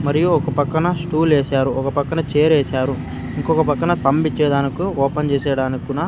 మరియు ఒక పక్కన స్టూల్ ఏశారు ఒక పక్కన చైర్ ఏశారు ఇంకొక పక్కన పంపించేదానుకి ఓపెన్ చేశారనుకున్నా.